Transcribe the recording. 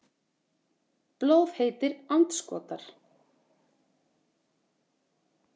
Blóðheitir andskotar.